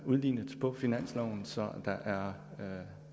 udlignet på finansloven så der